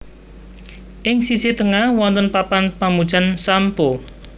Ing sisih tengah wonten papan pamujan Sam Po